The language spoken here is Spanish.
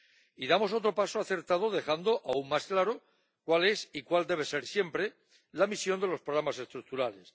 Y damos otro paso acertado dejando aún más claro cuál es y cuál debe ser siempre la misión de los programas estructurales.